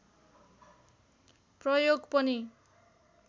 प्रयोग पनि